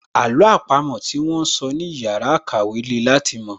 Àló àpamọ́ tí wón sọ ní ìyára ìkàwẹ́ le láti mọ̀